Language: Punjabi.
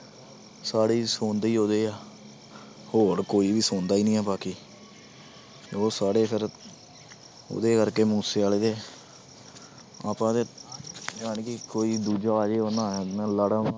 ਸਾਰੇ ਹੀ ਸੁਣਦੇ ਹੀ ਉਹਦੇ ਆ ਹੋਰ ਕੋਈ ਸੁਣਦਾ ਹੀ ਨੀ ਹੈ ਬਾਕੀ ਉਹ ਸਾਰੇ ਫਿਰ ਉਹਦੇ ਕਰਕੇ ਮੂਸੇਵਾਲੇ ਦੇ ਆਪਾਂ ਤੇ ਜਾਣੀ ਕਿ ਕੋਈ ਦੂਜਾ